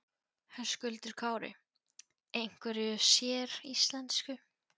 Höskuldur Kári: Einhverju séríslensku?